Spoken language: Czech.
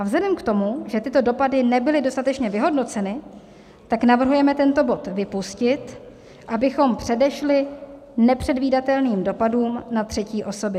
A vzhledem k tomu, že tyto dopady nebyly dostatečně vyhodnoceny, tak navrhujeme tento bod vypustit, abychom předešli nepředvídatelným dopadům na třetí osoby.